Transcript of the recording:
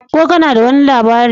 Ko kana da wani labari?